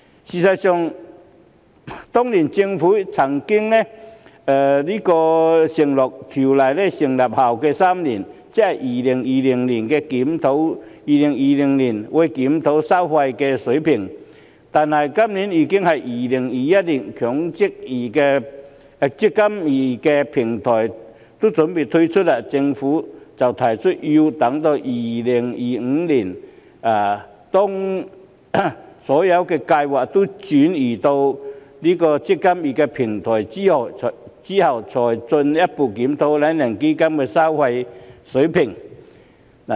事實上，當年政府曾經承諾會在預設投資策略成分基金運作3年後檢討收費水平，但今年已經是2021年，"積金易"平台已準備推出，政府卻提出要到2025年，當所有計劃也轉移到"積金易"平台後，才會進一步檢討"懶人基金"的收費水平。